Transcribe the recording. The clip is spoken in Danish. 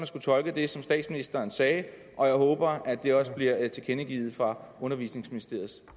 skulle tolke det som statsministeren sagde og jeg håber at det også bliver tilkendegivet fra undervisningsministeriets